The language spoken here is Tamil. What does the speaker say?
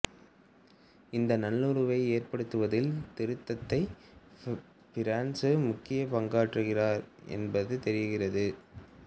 இந்த நல்லுறவை ஏற்படுத்துவதில் திருத்தந்தை பிரான்சிசு முக்கிய பங்காற்றுகிறார் என்பதும் தெரிகிறது